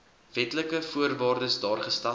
wetlike voorwaardes daargestel